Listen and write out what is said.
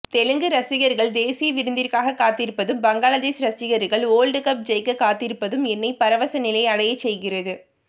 தெலுங்கு ரசிகர்கள் தேசிய விருதிற்காக காத்திருப்பதும் பங்களாதேஷ் ரசகர்கள் வோர்ல்ட்கப் ஜெயிக்க காத்திருப்பதும் என்னை பரவச நிலை அடையச்செய்கிறது